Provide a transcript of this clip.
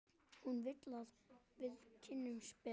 Hún vill að við kynnumst betur.